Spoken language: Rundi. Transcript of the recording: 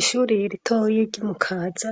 Ishure ritoyi ryi Mukaza